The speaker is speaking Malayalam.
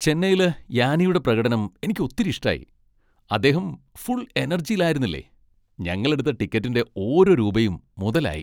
ചെന്നൈയില് യാനിയുടെ പ്രകടനം എനിക്ക് ഒത്തിരി ഇഷ്ടായി. അദ്ദേഹം ഫുൾ എനർജിലായിരുന്നില്ലേ! ഞങ്ങളെടുത്ത ടിക്കറ്റിന്റെ ഓരോ രൂപയും മുതലായി.